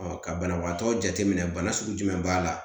ka banabagatɔ jateminɛ bana sugu jumɛn b'a la